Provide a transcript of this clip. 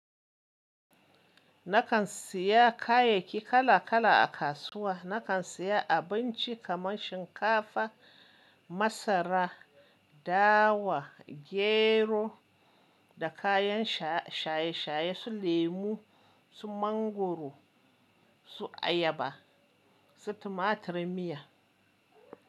Nakan siya kayayyaki kala kala a kasuwa. Nakan siya abinci kamar shinkafa, masara, dawa, gero da kayan shaye-shaye su lemu, su mangoro, su ayaba, su tumaturin miya.